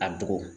A bugɔ